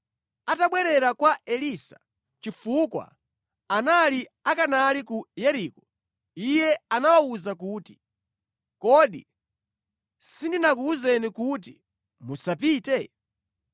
Atabwerera kwa Elisa (chifukwa anali akanali ku Yeriko), iye anawawuza kuti, “Kodi sindinakuwuzeni kuti musapite?”